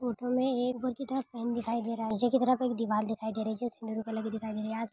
Photo मे एक ऊपर की तरफ फैन दिखाई दे रहा है| पीछे की तरफ एक दीवाल दिखाई दे रही है जो येल्लो कलर की दिखाई दे रही है। आस --